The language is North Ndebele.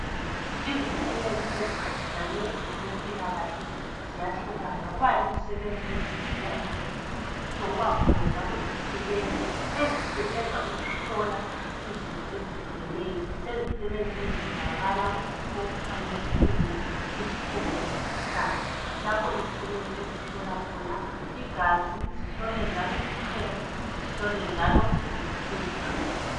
izisebenzi eziphathelane lokwempilakahle ziyahlukana kulezisebenzi ezisebenzela ezibhedlela kuzobakhona izisebenzi ezihlola izifo ezihlukeneyo kulezisebenzi kuzakhiwo okuthiwa yizikhungo izikhungo zomkhuhlane lapho izisebenzi ezihola khona igazi zihlole imicemo zihole njalo izifuba